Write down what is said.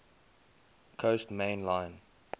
coast main line